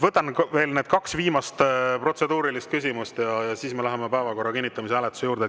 Võtan veel need kaks viimast protseduurilist küsimust ja siis me läheme päevakorra kinnitamise hääletuse juurde.